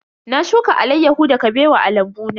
Na shuka alaiyahu da Kabewa a lambu na.